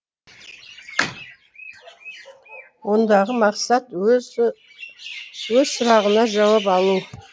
ондағы мақсат өз сұрағына жауап алу